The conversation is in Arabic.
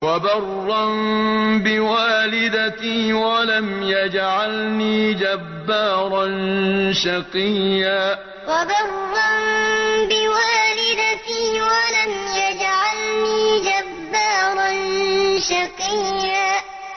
وَبَرًّا بِوَالِدَتِي وَلَمْ يَجْعَلْنِي جَبَّارًا شَقِيًّا وَبَرًّا بِوَالِدَتِي وَلَمْ يَجْعَلْنِي جَبَّارًا شَقِيًّا